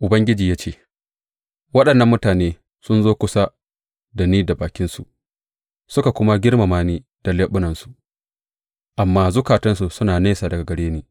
Ubangiji ya ce, Waɗannan mutane sun zo kusa da ni da bakinsu suka kuma girmama ni da leɓunansu, amma zukatansu suna nesa daga gare ni.